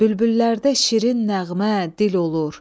Bülbüllərdə şirin nəğmə, dil olur.